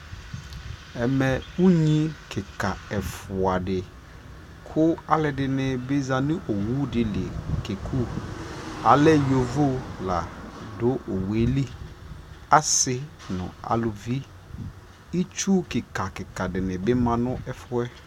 ɛmɛ ʋnyi kikaa ɛƒʋa di kʋ alʋɛdini bi zanʋ ɔwʋ dili kɛkʋ, alɛ yɔvɔ ɛƒʋa la dʋ ɔwʋɛ li asii nʋ alʋvi, itsʋ kika kika dibi manʋ ɛƒʋɛ